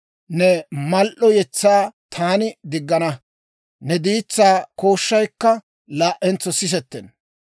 Ne mal"o yetsaa taani diggana; ne diitsaa kooshshaykka laa"entso sisettenna.